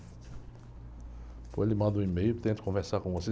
Ou lhe mando um e-mail e tento conversar com você.